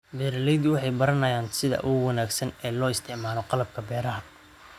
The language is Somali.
Beeraleydu waxay baranayaan sida ugu wanaagsan ee loo isticmaalo qalabka beeraha.